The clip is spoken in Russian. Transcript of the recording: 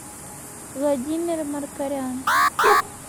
владимир маркорян